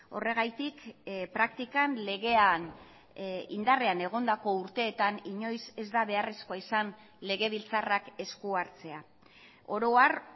horregatik praktikan legean indarrean egondako urteetan inoiz ez da beharrezkoa izan legebiltzarrak eskuhartzea oro har